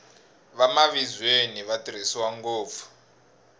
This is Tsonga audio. vamavizweni va tirhisiwa ngopfu